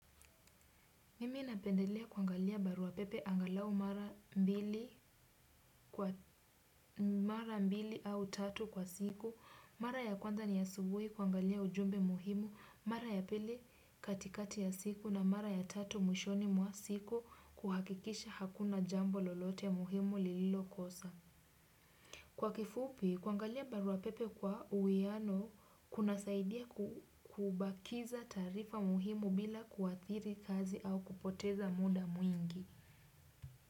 Mimi napendelea kuangalia barua pepe angalau mara mbili. Mara mbili au tatu kwa siku, mara ya kwanza ni ya asubuhi kuangalia ujumbe muhimu, mara ya pili katikati ya siku na mara ya tatu mwishoni mwa siku kuhakikisha hakuna jambo lolote muhimu lililokosa. Kwa kifupi, kuangalia barua pepe kwa uwiano kunasaidia kubakiza taarifa muhimu bila kuathiri kazi au kupoteza muda mwingi.